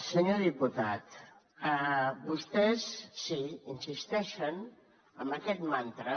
senyor diputat vostès sí insisteixen en aquest mantra